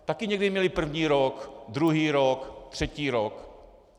Taky někdy měli první rok, druhý rok, třetí rok.